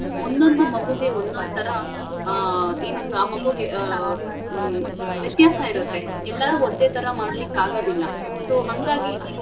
ಒಂದೊಂದು ಮಗುಗೆ ಒಂದೊಂದ್ಥರಾ ಆಹ್ ಏನಂತ ಆ ಮಗುಗೆ ಆಹ್ ಹ್ಮ್ ವ್ಯತ್ಯಾಸ ಇರುತ್ತೆ ಎಲ್ಲಾರೂ ಒಂದೇಥರ ಮಾಡ್ಲಿಕ್ ಆಗದಿಲ್ಲ so ಹಂಗಾಗಿ ಅ.